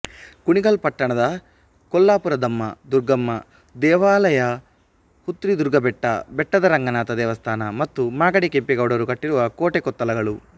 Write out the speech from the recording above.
ಕುಣಿಗಲ್ ಪಟ್ಟಣದ ಕೊಲ್ಲಾಪುರದಮ್ಮ ದುರ್ಗಮ್ಮ ದೇವಾಲಯಹುತ್ರಿದುರ್ಗಬೆಟ್ಟ ಬೆಟ್ಟದ ರಂಗನಾಥ ದೇವಸ್ಥಾನ ಮತ್ತು ಮಾಗಡಿ ಕೆಂಪೇಗೌಡರು ಕಟ್ಟಿರುವ ಕೋಟೆ ಕೊತ್ತಲಗಳು